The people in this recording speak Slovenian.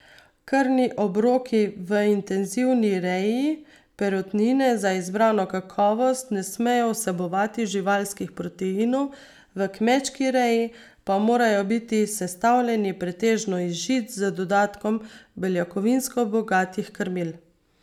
Krmni obroki v intenzivni reji perutnine za izbrano kakovost ne smejo vsebovati živalskih proteinov, v kmečki reji pa morajo biti sestavljeni pretežno iz žit z dodatkom beljakovinsko bogatih krmil.